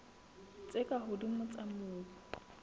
tse ka hodimo tsa mobu